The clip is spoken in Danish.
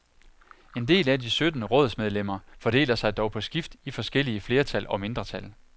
En del af de sytten rådsmedlemmer fordeler sig dog på skift i forskellige flertal og mindretal.